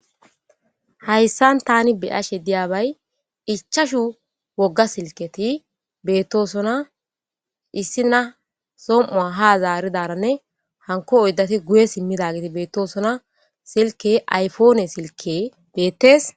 Hayissanni tani be'ashshe diyabbayi ichchashshu woga siliketi betosona ,issina som'cuwa haa zaaridaranne hanikko oyidati guye simidagetti betosona .sileke ayipoppene silekeyi betees.